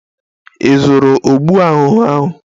Ị zụrụ ọgwụ ahụhụ ahụ?